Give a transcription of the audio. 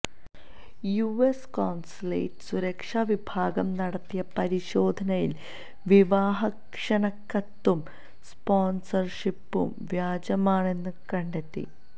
US consulate സുരക്ഷാ വിഭാഗം നടത്തിയ പരിശോധനയില് വിവാഹ ക്ഷണക്കത്തും സ്പോണ്സര്ഷിപ്പും വ്യാജമാണെന്നു കണ്ടെത്തി